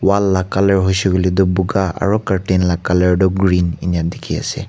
wall la colour hoi shey koi le toh buga aru curtain la colour toh green ena dikhi ase.